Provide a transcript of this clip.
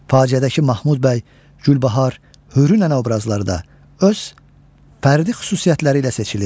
Faciədəki Mahmud bəy, Gülbahar, Hürü nənə obrazları da öz fərdi xüsusiyyətləri ilə seçilir.